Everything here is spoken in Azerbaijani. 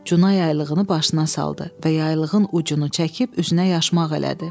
Cunay yaylığını başına saldı və yaylığın ucunu çəkib üzünə yaşmaq elədi.